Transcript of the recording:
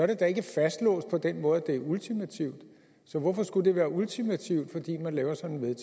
det da ikke fastlåst på den måde at det er ultimativt så hvorfor skulle være ultimativt fordi man laver sådan